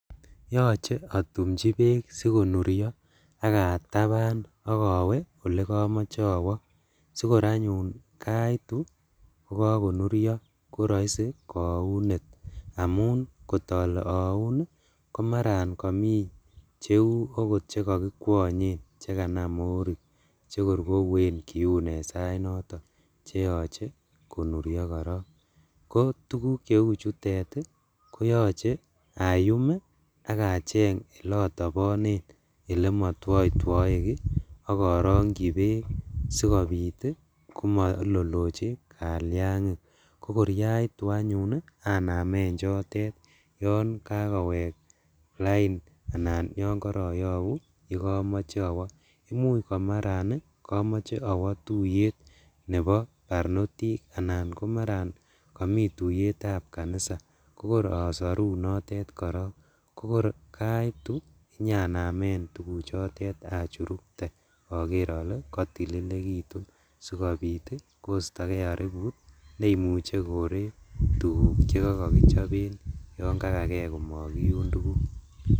Yoche otumchi beek sikonurio ak ataban ak owe olekomoche owo sikor anyun kaitu kokokonurio kogor koroisi kounet amun kotole oun komaran mi cheuot chekokikwongen chekanam morik chekor kouen kiuun en sainoton cheoche konurio korong, kotuguk cheuchutet ii koyoche ayum ii ak acheng elotobonen elemotwoitwoe kii ak orongji beek sikobit komoiloloji kaliangik kokor kaitu anyun anamen chotet yon kakowek lain anan yon koroyobu yekomoche owo, umuch komaran komoche owo tuiyet nebo barnotik anan komaran komi tuyetsb kanisa, kokor osoru notet korong inyanamen tuguchotet achurukte ak oker ole kotililekitu sikobit koisto kee oribut neimuche koree tuguk chekokokichoben yon kakaken komokiun tuguk.